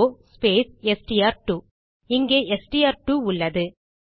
o space STR two இங்கே STR two உள்ளது